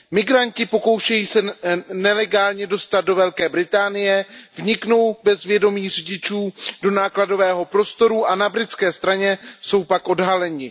Migranti se pokoušejí nelegálně dostat do Velké Británie, vniknou bez vědomí řidičů do nákladového prostoru a na britské straně jsou pak odhaleni.